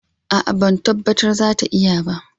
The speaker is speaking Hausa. A'a, ban tabbata za ta iya ba